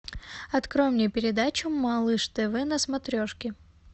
открой мне передачу малыш тв на смотрешке